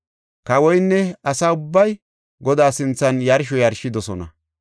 Kawoynne asa ubbay Godaa sinthan yarsho yarshidosona.